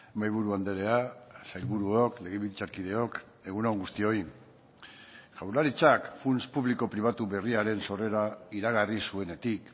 mahaiburu andrea sailburuok legebiltzarkideok egun on guztioi jaurlaritzak funts publiko pribatu berriaren sorrera iragarri zuenetik